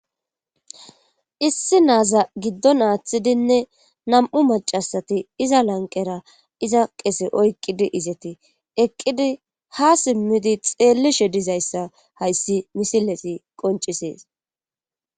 Issi naaza giddon aaththidinne nam7u macasati iza lanqera iza qese oyqqidi izeti eqqidi ha simmidi xeelli shedizayssa hayssi misileti qoncisees.